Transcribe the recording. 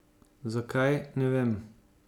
Zakaj, ne vem.